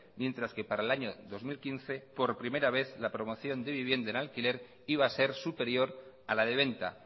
mientras que para el año dos mil quince por primera vez la promoción de vivienda en alquiler iba a ser superior a la de venta